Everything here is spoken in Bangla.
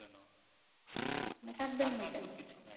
না কাঁদবেন না কেন?